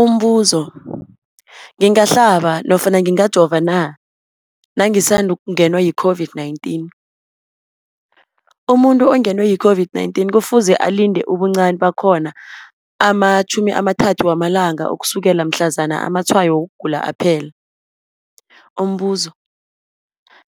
Umbuzo, ngingahlaba nofana ngingajova na nangisandu kungenwa yi-COVID-19? Umuntu ongenwe yi-COVID-19 kufuze alinde ubuncani bakhona ama-30 wama langa ukusukela mhlazana amatshayo wokugula aphela. Umbuzo,